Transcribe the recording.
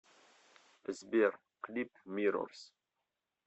сбер клип миррорс